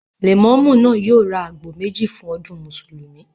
Lẹ̀mọ́mú náà yóò ra àgbò méjì fún ọdún Mùsùlùmí